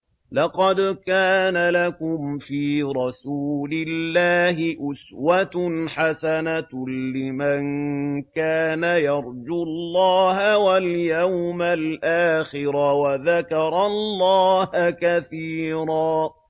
لَّقَدْ كَانَ لَكُمْ فِي رَسُولِ اللَّهِ أُسْوَةٌ حَسَنَةٌ لِّمَن كَانَ يَرْجُو اللَّهَ وَالْيَوْمَ الْآخِرَ وَذَكَرَ اللَّهَ كَثِيرًا